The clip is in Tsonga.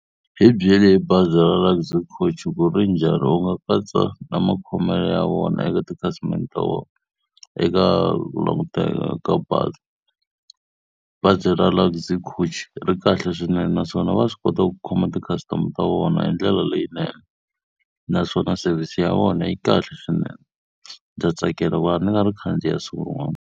Hi byeli hi bazi ra Luxy Coach ku ri njhani, u nga katsa na makhomelo ya vona eka tikhasimende ta vona, eka ku languteka ka bazi. Bazi ra Luxy Coach ri kahle swinene naswona va swi kota ku khoma ti-customer ta vona hi ndlela leyinene. Naswona service ya vona yi kahle swinene. Ndza tsakela ku va ni nga ri khandziya siku rin'wana.